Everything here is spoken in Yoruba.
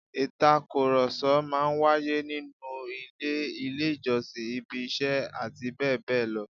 Ìtàkùrọ̀sọ máa ń wáyé nínú ilé, ilé ìjọsìn, ibi iṣẹ́ àti bẹ́ẹ̀ bẹ́ẹ̀ lọ